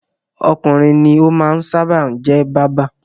Ọkùnrin ní ó máa ń sábà jẹ́ báábà.